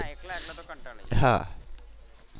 એકલા એકલા તો કંટાળી જાય.